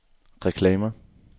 reklamer